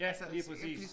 Ja lige præcis